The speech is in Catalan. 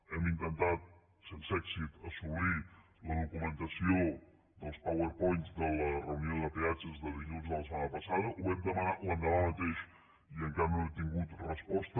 hem intentat sense èxit assolir la documentació dels powerpoints de la reunió de peatges de dilluns de la setmana passada ho vam demanar l’endemà mateix i encara no hem tingut resposta